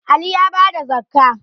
Ali ya bada zakkah